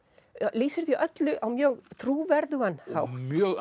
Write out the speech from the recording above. lýsir því öllu á mjög trúverðugan hátt